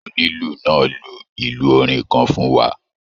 Onílù náà lù ilù orin kan fún wa